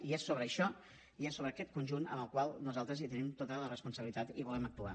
i és sobre això i és sobre aquest conjunt en el qual nosaltres tenim tota la responsabilitat i volem actuar